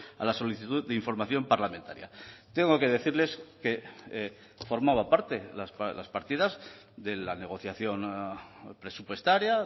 a la solicitud de información parlamentaria tengo que decirles que formaba parte las partidas de la negociación presupuestaria